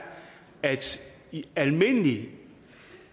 altså at i almindelig